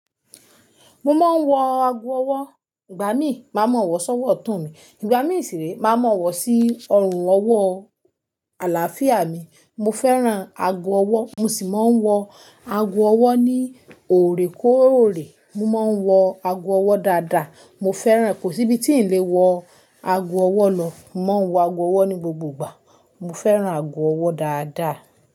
Mo máa ń wọ ago ọwọ́. Ìgbà míì, màá mọ̀ ọ́ wọ́ sọ́wọ́ tun mí, ìgbà míì sì re, màá mọ̀ ọ́ wọ́ sí ọrùn ọwọ́ àlàáfíà mi. Mo fẹ́ran ago ọwọ́, mo sì máa ń wọ ago ọwọ́ ní ò rè kó ò rè. Mo máa ń wọ ago ọwọ́ dáadáa. Mo fẹ́ran rẹ̀. Kò sí ibi tí n lè wọ ago ọwọ́ lọ. Mo máa ń wọ ago ọwọ́ ní gbogbo ìgbà. Mo fẹ́ran ago ọwọ́ dáadáa.